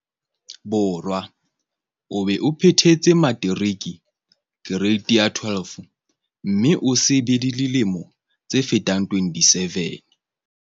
Borwa, o be o phethetse materiki, kereiti ya 12 mme o se be le dilemo tse fetang 27.